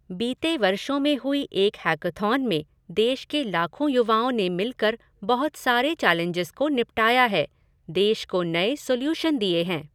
बीते वर्षों में हुई एक हैकॉथॉन में देश के लाखों युवाओं ने मिलकर बहुत सारे चैलेंजेज़ को निपटाया है, देश को नए सोल्युशन दिए हैं।